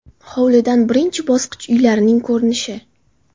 Hovlidan birinchi bosqich uylarining ko‘rinishi.